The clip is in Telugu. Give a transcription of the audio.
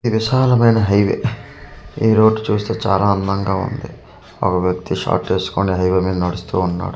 ఇది విశాలమైన హైవే ఈ రోడ్డు చూస్తే చాలా అందంగా ఉంది ఒక వ్యక్తి షార్ట్ వేసుకొని హైవే మీద నడుస్తు ఉన్నాడు.